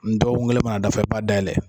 dɔgɔkun kelen mana dafa i b'a daminɛ